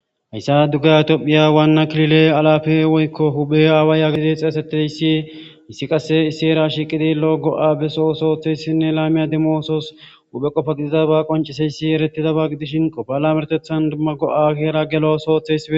hayssa dugga itoohphiya waanna klile alafe woykko huphe aawa yaagidi xeesetteyssi issi qasse isi era shiqidi lo7o go7a beso sooththeyssinne laamiya dimoosos uphe qofa gidida ba qonciseyssi eretidaba gidishinqo bala mertethan dumma go7a keera gelo soothesie